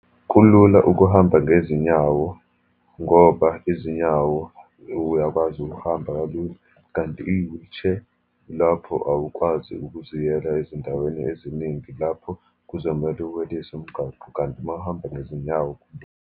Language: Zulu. Kulula ukuhamba ngezinyawo, ngoba izinyawo uyakwazi ukuhamba kalula, kanti i-wheelchair, lapho awukwazi ukuziyela ezindaweni eziningi lapho kuzomele weliswe umgwaqo. Kanti uma uhamba ngezinyawo.